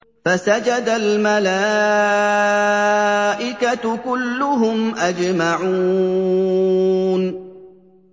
فَسَجَدَ الْمَلَائِكَةُ كُلُّهُمْ أَجْمَعُونَ